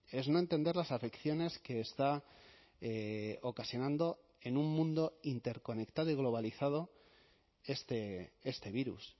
es no entender las afecciones que está ocasionando en un mundo interconectado y globalizado este virus